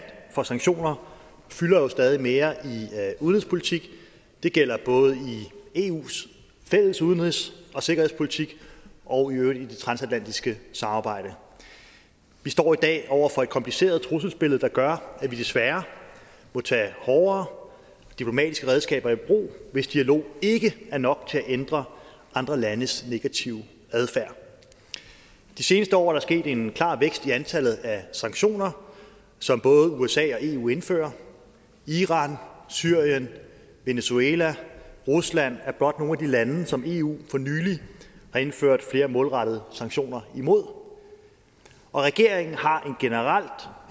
for sanktioner fylder jo stadig mere i udenrigspolitikken det gælder i eus fælles udenrigs og sikkerhedspolitik og i øvrigt i det transatlantiske samarbejde vi står i dag over for et kompliceret trusselsbillede der gør at vi desværre må tage hårdere diplomatiske redskaber i brug hvis dialog ikke er nok til at ændre andre landes negative adfærd de seneste år er der sket en klar vækst i antallet af sanktioner som både usa og eu indfører iran syrien venezuela og rusland er blot nogle af de lande som eu for nylig har indført flere målrettede sanktioner imod og regeringen har generelt